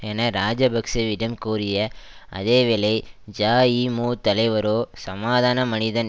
என இராஜபக்ஷவிடம் கோரிய அதே வேளை ஜஇமு தலைவரோ சமாதான மனிதன்